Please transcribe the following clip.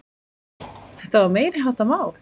Þetta var meiriháttar mál!